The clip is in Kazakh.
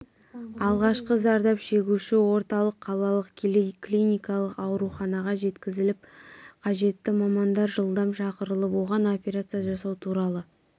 алғашқы зардап шегуші орталық қалалық клиникалық ауруханаға жеткізіліп қажетті мамандар жылдам шақырылып оған операция жасау туралы